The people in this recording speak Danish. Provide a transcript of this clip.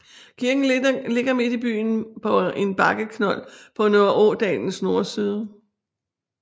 Kirken ligger midt i byen på en bakkeknold på Nørreådalens nordside